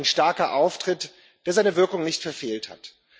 Ein starker Auftritt, der seine Wirkung nicht verfehlt hat.